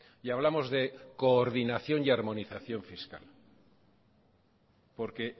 y hablamos de coordinación y armonización fiscal porque